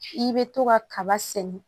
I bɛ to ka kaba sɛnɛ